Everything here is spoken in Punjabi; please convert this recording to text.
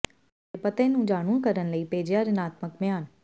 ਤੁਹਾਡੇ ਪਤੇ ਨੂੰ ਜਾਣੂ ਕਰਨ ਲਈ ਭੇਜਿਆ ਰਿਣਾਤਮਕ ਬਿਆਨ